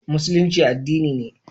Musulunci addinina ne.